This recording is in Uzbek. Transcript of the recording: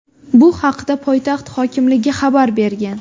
Bu haqda poytaxt hokimligi xabar bergan .